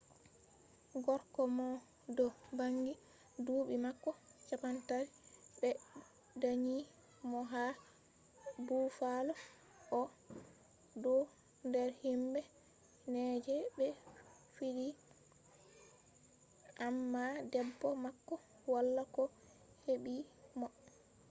gorko mo do bangi duubi mako 30 be danyi mo ha buffalo o do der himbe nai je be fidi amma debbo mako wala ko hebi mo